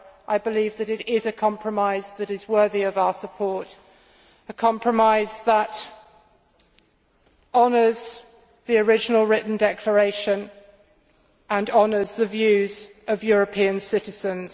I believe that it is a compromise that is worthy of our support, a compromise that honours the original written declaration and honours the views of European citizens.